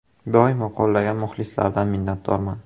Doimo qo‘llagan muxlislardan minnatdorman.